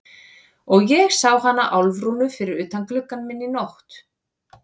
Og ég sá hana Álfrúnu fyrir utan gluggann minn í nótt.